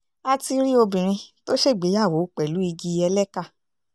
a ti rí obìnrin tó ṣègbéyàwó pẹ̀lú igi ẹlẹ́kà